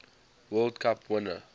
world cup winner